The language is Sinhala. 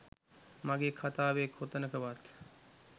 මගෙ කතාවේ කොතනකවත්